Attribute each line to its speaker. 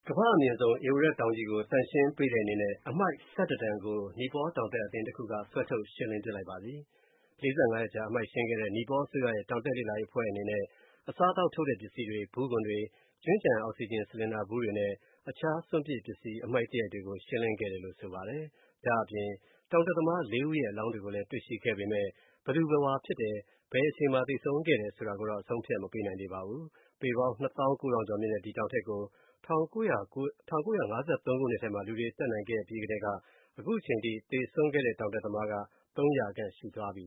Speaker 1: ကမ္ဘာအမြင့်ဆုံး ဧဝရက်တောင်ကြီးကို သန့်ရှင်းပေးတဲ့အနေနဲ့၊ အမှိုက် တန်ကို တောင်တက်အသင်းတစ်ခုက ဆွဲထုတ်ရှင်းလင်းပစ်လိုက်ပါပြီ။ ၄၅ ရက်ကြာ အမှိုက်ရှင်းခဲ့တဲ့ နီပေါအစိုးရ တောင်တက်လေ့လာရေးအဖွဲ့အနေနဲ့ အစားအသောက်ထုတ်တဲ့ပစ္စည်းတွေ၊ ဗူးခွံတွေ၊ ကျွင်းကျန် အောက်ဆီဂျင် ဆလင်ဒါဗူးတွေနဲ့ တခြား စွန့်ပစ်အမှိုက်တွေကို ရှင်းလင်းခဲ့တယ်လို့ ဆိုပါတယ်။ ဒါ့အပြင် တောင်တက်သမား ဦးရဲ့ အလောင်းတွေကိုလည်း တွေ့ရှိခဲ့ပေမဲ့၊ ဘယ်သူဘယ်ဝါဖြစ်တယ် ဘယ်အချိန်မှာ သေဆုံးခဲ့တယ်ဆိုတာကိုတော့ အဆုံးအဖြတ် မပေးနိုင်သေးပါဘူး။ ပေပေါင်း နှစ်သောင်း ကိုးထောင်ကျော်မြင့်တဲ့ ဒီတောင်ထိပ်ကို ၁၉၅၃ ခုနှစ်ထဲက လူတွေတက်နိုင်ခဲ့အပြီးကတည်းက ခုချိန်ထိ သေဆုံးခဲ့တဲ့
Speaker 2: တောင်တက်သမား ၃၀၀ ခန့် ရှိသွားပါပြီ